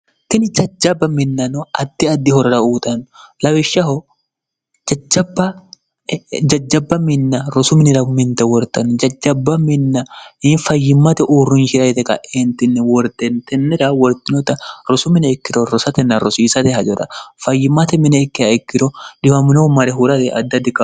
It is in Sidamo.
tini jajjabba minnano atti addi horora uutanno lawishshaho jajjabba minna rosu minirau minte wortanni jajjabba minna yiin fayyimmate uurrunshira yite qa eentinni wordentennira wortinota rosu mine ikkiro rosatenna rosiisate hajara fayyimmate mine kkiha ikkiro diwaminohu mare huurare addi addiooro